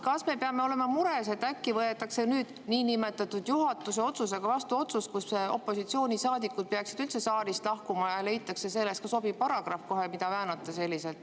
Kas me peaksime olema mures, et äkki võetakse nüüd niinimetatud juhatuse otsusega vastu otsus, et opositsioonisaadikud peaksid üldse saalist lahkuma, ja leitakse selleks kohe ka sobiv paragrahv, mida selliselt väänata?